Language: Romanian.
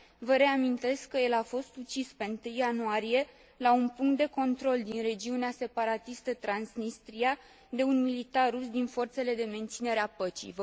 Vă reamintesc că el a fost ucis pe 1 ianuarie, la un punct de control din regiunea separatistă Transnistria, de un militar rus din forțele de menținere a păcii.